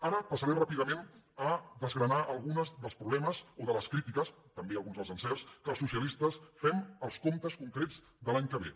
ara passaré ràpidament a desgranar alguns dels proble·mes o de les crítiques també alguns dels encerts que els socialistes fem als comptes concrets de l’any que ve